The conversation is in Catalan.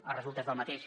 de resultes del mateix